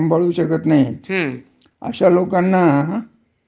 मोठ्या मोठ्या कंपन्या ऍमेझोन, फ्लिपकार्ट, हं.